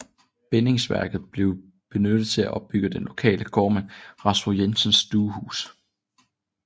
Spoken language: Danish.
Bindingsværk bliver benyttet til at opbygge den lokale gårdmand Rasmus Jensens stuehus